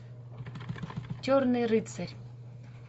черный рыцарь